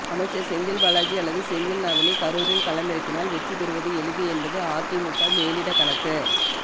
அமைச்சர் செந்தில்பாலாஜி அல்லது செந்தில்நாதனை கரூரில் களமிறக்கினால் வெற்றி பெறுவது எளிது என்பது அதிமுக மேலிட கணக்கு